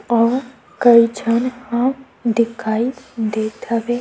अऊ कई झन अब दिखाई देत हवे।